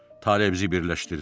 Tale bizi birləşdirdi.